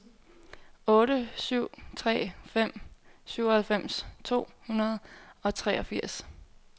otte syv tre fem syvoghalvfems to hundrede og treogfirs